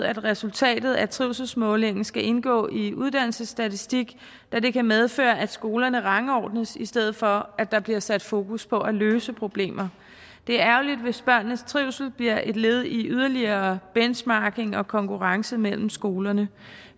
at resultatet af trivselsmålingen skal indgå i uddannelsesstatistik da det kan medføre at skolerne rangordnes i stedet for at der bliver sat fokus på at løse problemer det er ærgerligt hvis børnenes trivsel bliver et led i yderligere benchmarking og konkurrence mellem skolerne